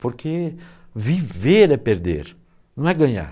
Porque viver é perder, não é ganhar.